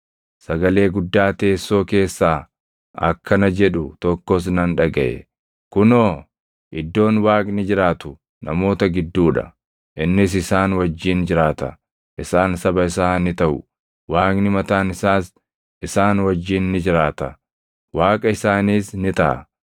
Sagalee guddaa teessoo keessaa akkana jedhu tokkos nan dhagaʼe; “Kunoo, iddoon Waaqni jiraatu namoota gidduu dha; innis isaan wajjin jiraata. Isaan saba isaa ni taʼu; Waaqni mataan isaas isaan wajjin ni jiraata; Waaqa isaaniis ni taʼa.